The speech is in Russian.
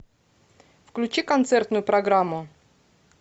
включи концертную программу